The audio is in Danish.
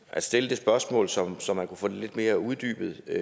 at stille det spørgsmål så så man kunne få det lidt mere uddybet jeg